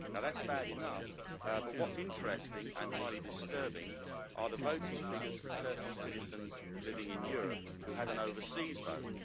Now that is bad enough, but what is interesting and highly disturbing are the voting figures for Turkish citizens living in Europe who had an overseas vote.